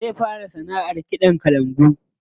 Zai fara sanaʼar kiɗan kalangu.